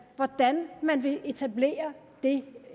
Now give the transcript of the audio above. hvordan man vil etablere